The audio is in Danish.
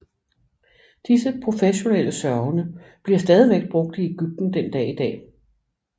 Disse professionelle sørgende bliver stadigvæk brugt i Ægypten den dag i dag